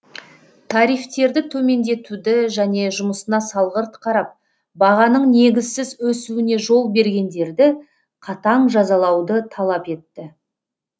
тарифтерді төмендетуді және жұмысына салғырт қарап бағаның негізсіз өсуіне жол бергендерді қатаң жазалауды талап етті